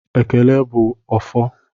Ekele bụ ọfọ